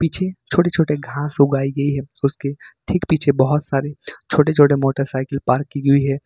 पीछे छोटे छोटे घास उगाई गई हैं और उसके ठीक पीछे बहुत सारे छोटे छोटे मोटरसाइकिल पार्क की गई है।